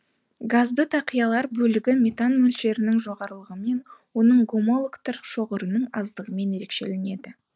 газды тақиялар бөлігі метан мөлшерінің жоғарылығымен оның гомологтары шоғырының аздығымен ерекшеленеді